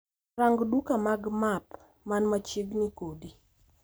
Rang duka mag map man machiegni koda